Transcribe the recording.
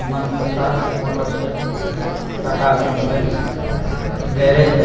मनतशा motors है Tata automobiles garage है।